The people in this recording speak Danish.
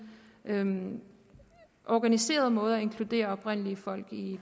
nogen organiseret måde at inkludere oprindelige folk i